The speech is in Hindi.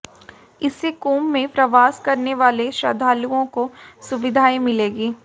इससे कुंभ में प्रवास करने वाले श्रद्धालुओं को सुविधाएं मिलेंगी